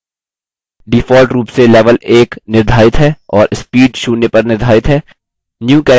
default रूप से level 1 निर्धारित है और speed शून्य पर निर्धारित है